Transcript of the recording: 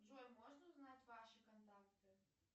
джой можно узнать ваши контакты